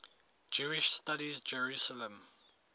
jewish studies jerusalem